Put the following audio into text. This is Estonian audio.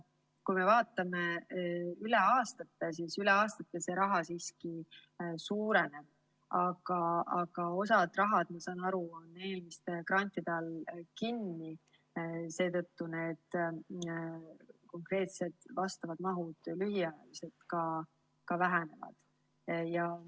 Kui me vaatame aastate arvestuses, siis see raha siiski suureneb, aga osa raha, saan aru, on grantide all kinni ja seetõttu konkreetsed mahud lühiajaliselt ka vähenevad.